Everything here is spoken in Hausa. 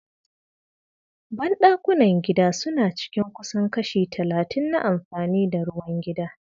Ban-dakunan gida suna cin kusan kashi 30% na amfani da ruwan gida.